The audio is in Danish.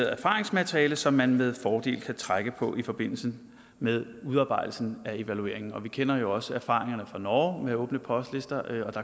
erfaringsmateriale som man med fordel kan trække på i forbindelse med udarbejdelsen af evalueringen vi kender jo også erfaringerne fra norge med åbne postlister